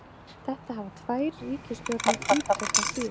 Þetta hafa tvær ríkisstjórnir ítrekað síðan